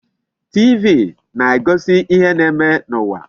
TV na-egosi ihe na-eme n'ụwa.